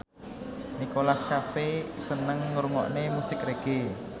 Nicholas Cafe seneng ngrungokne musik reggae